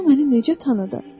O məni necə tanıdı?